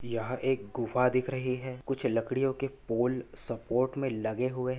यहाँ एक गुफा दिख रही है कुछ लकड़ियो के पोल सपोर्ट मे लगे हुए--